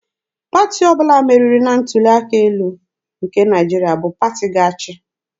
Pati ọbụla meriri na ntuli aka elu nke Naịjirịa bụ pati ga-achị.